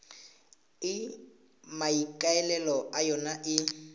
e maikaelelo a yona e